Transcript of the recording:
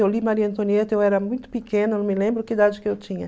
Eu li Maria Antonieta, eu era muito pequena, não me lembro que idade que eu tinha.